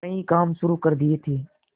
कई काम शुरू कर दिए थे